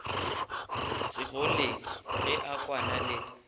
segoleng ge a kwana le